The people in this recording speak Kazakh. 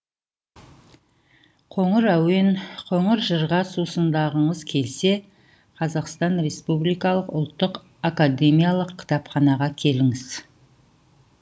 қоңыр әуен қоңыр жырға сусындағыңыз келсе қазахстан республикалық ұлттық акакдемиялық кітапханаға келіңіз